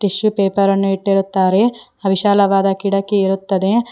Tissue paper ಅನ್ನು ಇಟ್ಟಿರುತ್ತಾರೆ ವಿಶಾಲವಾದ ಗಿಡಕ್ಕೆ ಇರುತ್ತದೆ.